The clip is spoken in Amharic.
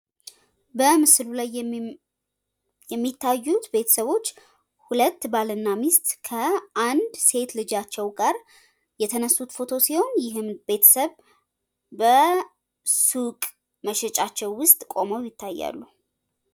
በምስሉ ላይ የሚታዩት ሁለት ባልና ሚስት ከአንድ ሴት ልጃቸው ጋር የተነሱት ፎቶ ሲሆን ይህም ቤተሰብ በሱቅ መሸጫቸው ውስጥ ቆመው ይታያሉ።